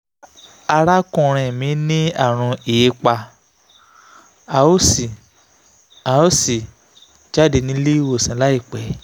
arákùnrin mi ní àrùn hépa a ó sì a ó sì jáde nílé ìwòsàn láìpẹ́